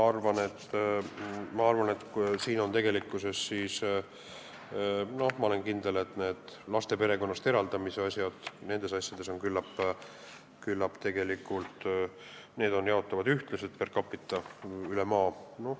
Ma olen kindel, et lapse perekonnast eraldamise asjad jaotuvad ühtlaselt per capita üle maa.